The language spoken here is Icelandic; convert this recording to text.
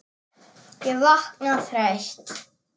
Ég vakna þreytt.